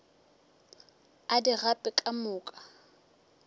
a di gape ka moka